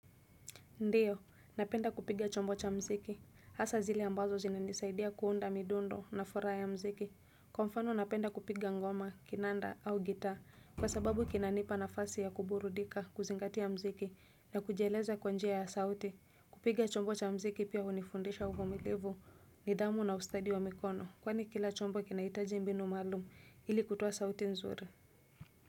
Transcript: Ndiyo, napenda kupiga chombo cha mziki, hasa zile ambazo zina nisaidia kuunda midundo na furaha ya mziki. Kwa mfano napenda kupiga ngoma, kinanda au gita, kwa sababu kinanipa nafasi ya kuburudika, kuzingatia mziki, na kujieleza kwanjia ya sauti. Kupiga chombo cha mziki pia unifundisha uvumilivu nidhamu na ustadi wa mikono, kwani kila chombo kinahitaji mbinu maalum ili kutoa sauti nzuri.